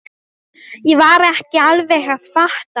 Ég var ekki alveg að fatta.